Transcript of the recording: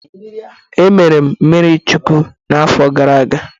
Emere m mmiri chukuwu n'afọ gara aga.